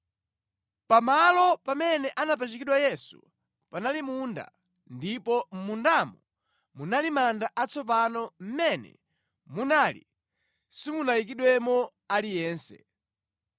Pamalo pamene anapachikidwa Yesu panali munda ndipo mʼmundamo munali manda atsopano mʼmene munali simunayikidwemo aliyense.